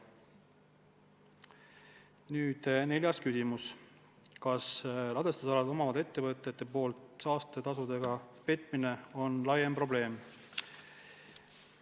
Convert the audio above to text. Nüüd neljas küsimus: "Kas ladestusala omavate ettevõtete poolt saastetasudega petmine on laiem probleem?